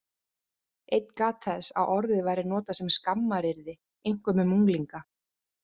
Einn gat þess að orðið væri notað sem skammaryrði, einkum um unglinga.